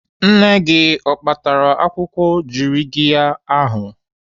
Nne gị o kpatara akwụkwọ jirigiya ahụ?